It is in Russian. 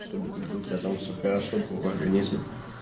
чтобы как бы у тебя там все хорошо было в организме